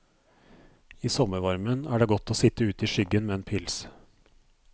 I sommervarmen er det godt å sitt ute i skyggen med en pils.